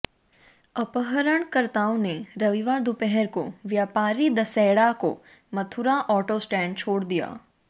अपहरणकर्ताओं ने रविवार दोपहर को व्यापारी दसेड़ा को मथुरा ऑटो स्टैंड छोड़ दिया